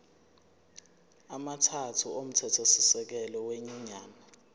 amathathu omthethosisekelo wenyunyane